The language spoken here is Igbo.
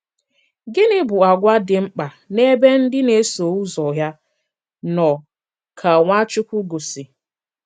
Gịnị̀ bụ àgwà dị mkpa n’ebe ndị na-eso ụzọ̀ ya nọ̀ ka Nwachukwu gọ̀sì?